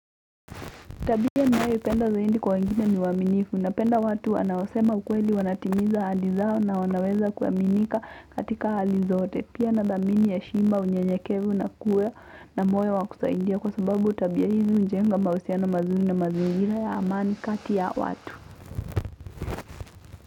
Tabia ninayopenda zaidi kwa wengine ni uaminifu napenda watu wanaosema ukweli wanatimiza ahadi zao na wanaweza kuaminika katika hali zote pia nadhamini heshima, unyenyekevu na kuwa na moyo wa kusaidia kwa sababu tabia hizi hujenga mahusiano mazuri na mazingira ya amani kati ya watu.